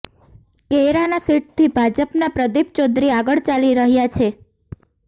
કૈરાના સીટથી ભાજપના પ્રદીપ ચૌધરી આગળ ચાલી રહ્યા છે